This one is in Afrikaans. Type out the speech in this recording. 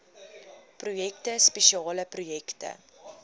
projekte spesiale projekte